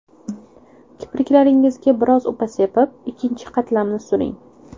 Kipriklaringizga biroz upa sepib, ikkinchi qatlamini suring.